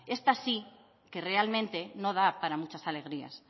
esta sí que realmente no da para muchas alegrías